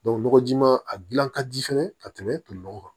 nɔgɔjima a gilan ka di fɛnɛ ka tɛmɛ toli nɔgɔ kan